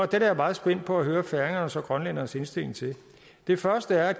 det er jeg meget spændt på at høre færingernes og grønlændernes indstilling til det første er